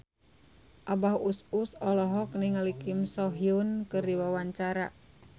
Abah Us Us olohok ningali Kim So Hyun keur diwawancara